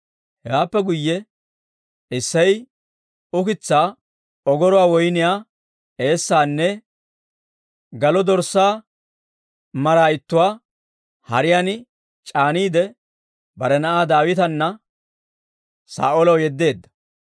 Hewaappe guyye Isseyi ukitsaa, ogoruwaa woyniyaa eessaanne galo dorssaa mara ittuwaa hariyaan c'aaniide, bare na'aa Daawitana Saa'oolaw yeddeedda.